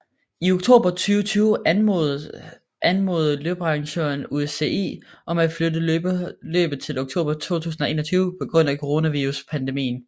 I oktober 2020 anmodede løbsarrangøren UCI om at flytte løbet til oktober 2021 på grund af coronaviruspandemien